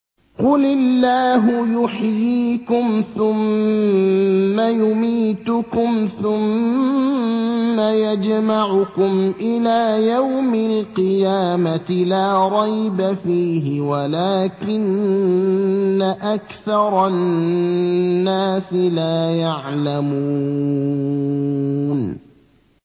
قُلِ اللَّهُ يُحْيِيكُمْ ثُمَّ يُمِيتُكُمْ ثُمَّ يَجْمَعُكُمْ إِلَىٰ يَوْمِ الْقِيَامَةِ لَا رَيْبَ فِيهِ وَلَٰكِنَّ أَكْثَرَ النَّاسِ لَا يَعْلَمُونَ